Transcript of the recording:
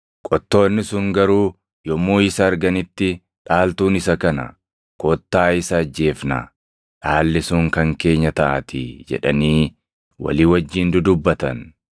“Qottoonni sun garuu yommuu isa arganitti, ‘Dhaaltuun isa kana; kottaa isa ajjeefnaa; dhaalli sun kan keenya taʼaatii’ jedhanii walii wajjin dudubbatan.